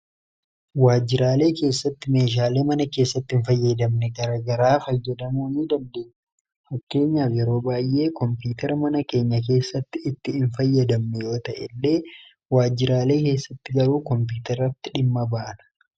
waajjiraalee keessatti meeshaalee mana keessatti hin fayyadamne gargaraa fayyadamoo ni dandeessisu fakkeenyaaf yeroo baayyee koompiyuteraa mana keenya keessatti itti hin fayyadamne yoo ta'e illee waajjiraalee keessatti garuu koompiyuterratti dhimma baana.